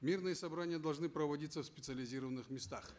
мирные собрания должны проводиться в специализированных местах